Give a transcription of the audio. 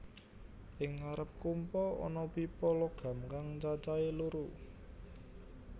Ing ngarep kompa ana pipa logam kang cacahé loro